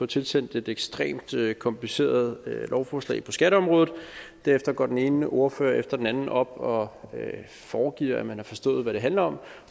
tilsendt et ekstremt kompliceret lovforslag på skatteområdet derefter går den ene ordfører efter den anden op og foregiver at man har forstået hvad det handler om og